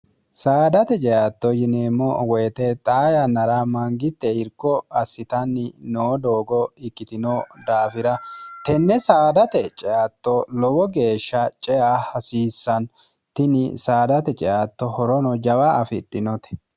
saadate ceatto yineemmo woyite xaa yannara mangitte irko assitanni noo doogo ikkitino daafira tenne saadate ceatto lowo geeshsha cea hasiissantini saadate ceatto horono jawa afixhinote